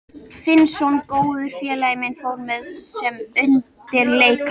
Finnsson, góður félagi minn, fór með sem undirleikari.